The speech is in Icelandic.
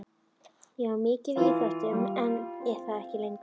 Ég var mikið í íþróttum en er það ekki lengur.